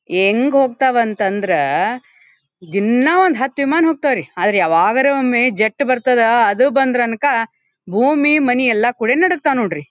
ಹೆಂಗ್ ಹೋಗ್ತಾವ್ ಅಂತಂದ್ರೆ ದಿನಾ ಒಂದು ಹತ್ತು ವಿಮಾನ ಹೋಗ್ತಾವ್ರಿ ಆದರೆ ಯಾವಾಗಾದರೂ ಒಮ್ಮೆ ಜೆಟ್ ಬರ್ತದ ಅದು ಬಂದ್ರೆ ಅನ್ಕ ಭೂಮಿ ಮನಿ ಎಲ್ಲ ಕುಡಿ ನಡುಗ್ತಾವ ನೋಡ್ರಿ.